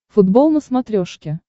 футбол на смотрешке